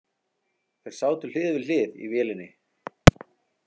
Þeir sátu hlið við hlið í vélinni.